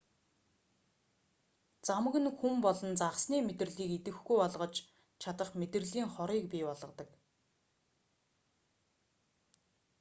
замаг нь хүн болон загасны мэдрэлийг идэвхгүй болгож чадах мэдрэлийн хорыг бий болгодог